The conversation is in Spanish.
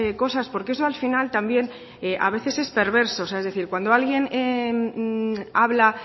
cosas porque eso al final también es perverso es decir cuando alguien habla